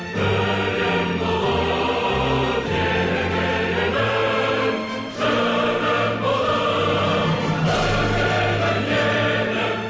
гүлің болып егілемін жырың болып төгілемін елім